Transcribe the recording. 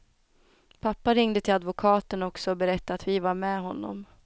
Pappa ringde till advokaten också och berättade att vi var med honom.